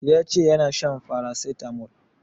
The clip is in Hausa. Ya ce yana shan paracetamol